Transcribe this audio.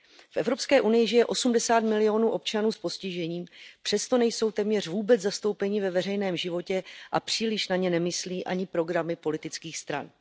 V Evropské unii žije 80 milionů občanů s postižením, přesto nejsou téměř vůbec zastoupeni ve veřejném životě a příliš na ně nemyslí ani programy politických stran.